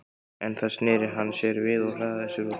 En þá sneri hann sér við og hraðaði sér út.